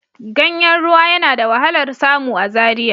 Ganyen ruwa yana da wahalar samu a Zaria